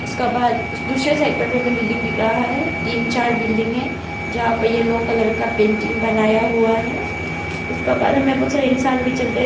उसका बाद उस दूसरे साइड पर भी हमे बिल्डिंग दिख रहा है तीन चार बिल्डिंग हैं जहां पर येलो कलर का पेंटिंग बनाया हुआ है उसका बाद में हमे बहुत सारे इंसान भी चलते--